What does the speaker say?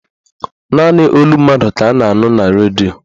Naanị olu mmadụ ka a na-anụ na redio